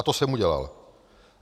A to jsem udělal.